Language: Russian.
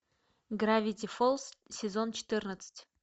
гравити фолз сезон четырнадцать